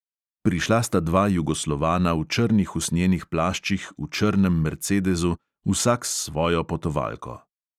Prišla sta dva jugoslovana v črnih usnjenih plaščih v črnem mercedezu, vsak s svojo potovalko.